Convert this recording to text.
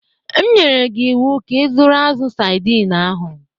M nyere gị ịwụ ka ịzụrụ azụ̀ saidin ahụ!